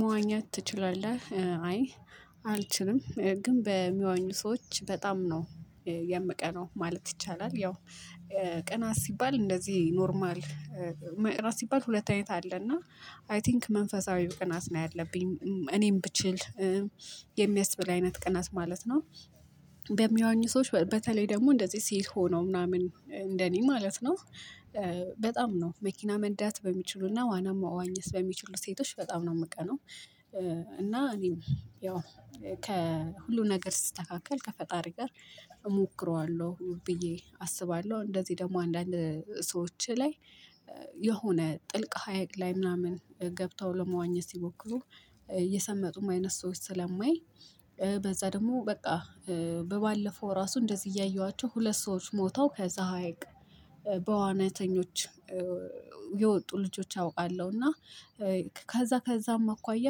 መዋኘት ትችላለህ አይ አልችልም ግን በሚዋኙ ሰዎች በጣም ነው የምቀናው ማለት ይቻላል። ያው ቅናት ሲባል እንደዚህ ኖርማል መቅናት ሲባል ሁለት አይነት አለ። እና አይ ቲንክ መንፈሳዊ ቅናት ነው ያለብኝ እኔም ብችል የሚያስብል አይነት ቅናት ማለት ነው። በሚዋኙ ሰዎች በተለይ ደግሞ እንደዚህ ሴት ሆነው ምናምን እንደኔ ማለት ነው። በጣም ነው መኪና መንዳት በሚችሉና ዋና መዋኘት በሚችሉ ሴቶች በጣም ነው የምቀናው። እና እኔም ያው ከሁሉ ነገር ሲስተካከል ከፈጣሪ ጋር እሞክረዋለሁ ብዬ አስባለሁ። እንደዚህ ደግሞ አንዳንድ ሰዎች ላይ የሆነ ጥልቅ ሀይቅ ላይ ምናምን ገብተው ለመዋኘት ሲሞክሩ የሰመጡም አይነት ሰዎች ስለማይ። በዛ ደግሞ በቃ በባለፈው ራሱ እንደዚህ እያየኋቸው ሁለት ሰዎች ሞተው ከዛ ሀይቅ በዋናተኞች የወጡ ልጆች አውቃለሁ። እና ከዛ ከዛም አኳያ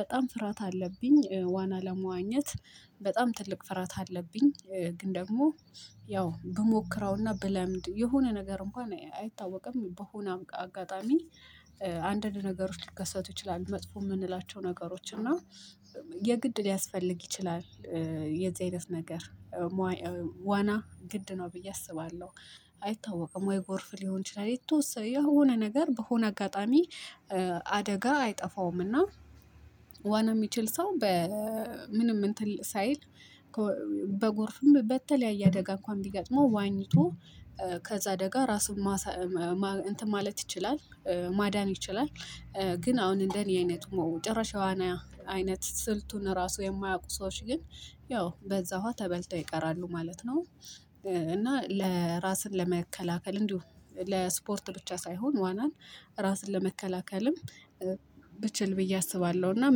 በጣም ፍርሃት አለብኝ። ዋና ለመዋኘት በጣም ትልቅ ፍርሃት አለብኝ። ግን ደግሞ ያው ብሞክረውና ብለምድ የሆነ ነገር እንኳን አይታወቅም በሆነ አጋጣሚ አንዳንድ ነገሮች ሊከሰቱ ይችላሉ። መጥፎ የምንላቸው ነገሮች እና የግድ ሊያስፈልግ ይችላል። የዚህ አይነት ነገር ዋና ግድ ነው ብዬ አስባለሁ። አይታወቅም ወይ ጎርፍ ሊሆን ይችላል። የተወሰነ የሆነ ነገር በሆነ አጋጣሚ አደጋ አይጠፋውም። እና ዋና የሚችል ሰው በምንም እንትን ሳይል በጎርፍም በተለያየ አደጋ እንኳን ቢገጥመው ዋኝቶ ከዛ አደጋ ራሱን ማሳ እንትን ማለት ይችላል ማዳን ይችላል። ግን አሁን እንደኔ አይነቱ ጭራሽ የዋና አይነት ስልቱን ራሱ የማያውቁ ሰዎች ግን ያው በዛ ውሃ ተበልተው ይቀራሉ ማለት ነው። እና ለራስን ለመከላከል እንዲሁም ለስፖርት ብቻ ሳይሆን ዋናን ራስን ለመከላከልም ብችል ብዬ አስባለሁ። እና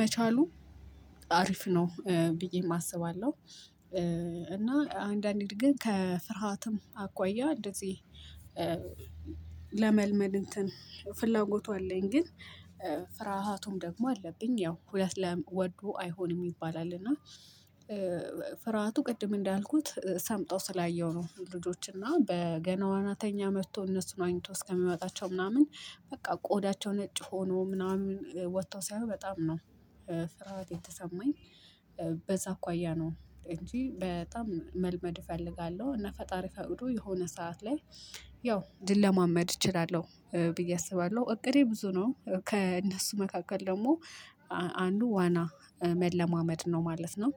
መቻሉ አሪፍ ነው ብዬ አስባለሁ። እና አንዳንዴ ግን ከፍርሃትም አኳያ እንደዚህ ለመልመድ እንትን ፍላጎቱ አለኝ። ግን ፍርሃቱም ደግሞ አለብኝ ያው ሁለት ወዶ አይሆንም ይባላል። እና ፍርሃቱ ቅድም እንዳልኩት ሰምጠው ስላየሁ ነው። ልጆች እና ገና ዋናተኛ መጥቶ እነሱን ዋኝቶ እስከሚያመጣቸው ምናምን በቃ ቆዳቸው ነጭ ሆኖ ምናምን ወጥተው ሳይ በጣም ነው ፍርሃት የተሰማኝ። በዛ አኳያ ነው እንጂ በጣም መልመድ እፈልጋለሁ። እና ፈጣሪ ፈቅዶ የሆነ ሰዓት ላይ ያው ልለማመድ እችላለሁ ብዬ አስባለሁ። እቅዴ ብዙ ነው ከእነሱ መካከል ደግሞ አንዱ ዋና መለማመድ ነው ማለት ነው።